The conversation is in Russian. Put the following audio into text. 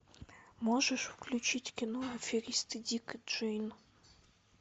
можешь включить кино аферисты дик и джейн